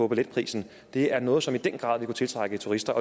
billetprisen det er noget som i den grad vil kunne tiltrække turister